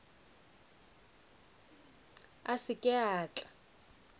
a se ke a tla